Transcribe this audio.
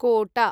कोट